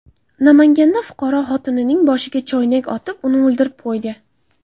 Namanganda fuqaro xotinining boshiga choynak otib, uni o‘ldirib qo‘ydi.